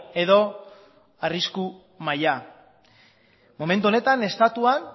edo arrisku maila momentu honetan estatuan